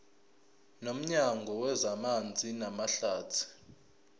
nomnyango wezamanzi namahlathi